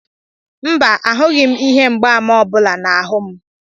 mba, Ahụghị m ihe mgbaàmà ọ bụla n'ahụ m